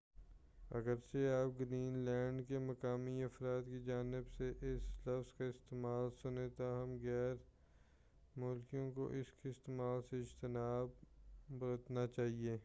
اگرچہ آپ Greenland کے مقامی افراد کی جانب سے اس لفظ کا استعمال سنیں تاہم غیر ملکیوں کو اس کے استعمال سے اجتناب برتنا چاہیئے